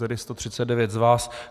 Tedy 139 z vás.